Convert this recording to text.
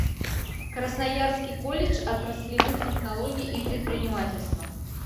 красноярский колледж отраслевых технологий и предпринимательства